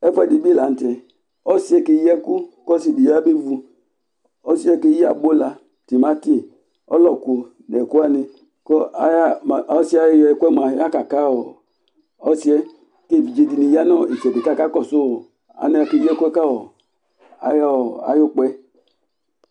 ɛfʊɛdɩ bɩ lanʊtɛ, ɔsi dɩ keyi ɛkʊ, kʊ ɔsidɩ ya be vu, ɔsi yɛ keyi, abula, timati, ɔlɔkʊ, nʊ ɛkʊwanɩ, ɔsi yɛ ɛkʊ yɛ yaka ɔsi yɛ kʊ evidze dɩnɩ ta nʊ itsɛdɩ kʊ akakɔsʊ alɛnɛ kʊ akeyi ɛkʊ yɛ ka ayʊ ukpa yɛ